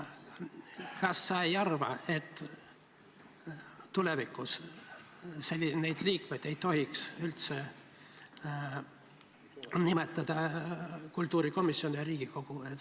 Kas sa ei arva, et tulevikus ei tohiks neid liikmeid üldse nimetada kultuurikomisjon ja Riigikogu?